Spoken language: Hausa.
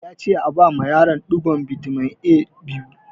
Ya ce a bama yaron ɗigon bitamin A biyu!